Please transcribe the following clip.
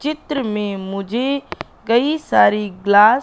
चित्र में मुझे कई सारी ग्लास --